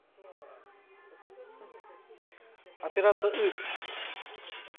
операция ы